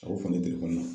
A o fan telefɔni na